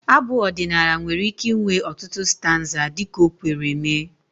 Abụ ọdịnala nwere ike inwe ọtụtụ stanza dị ka o kwere mee